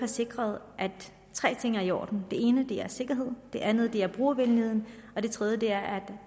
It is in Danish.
sikret at tre ting er i orden den ene er sikkerheden den anden er brugervenligheden og den tredje er